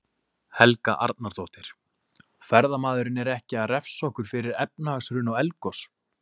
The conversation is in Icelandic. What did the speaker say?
Helga Arnardóttir: Ferðamaðurinn er ekki að refsa okkur fyrir efnahagshrun og eldgos?